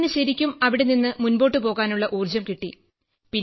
അങ്ങനെ ശരിക്കും അവിടെനിന്ന് മുൻപോട്ടു പോകാനുള്ള ഊർജം കിട്ടി